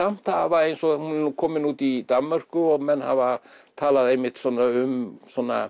samt hafa eins og hún er nú komin út í Danmörku og menn hafa talað einmitt um